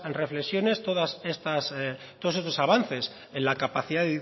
reflexiones todos estos avances en la capacidad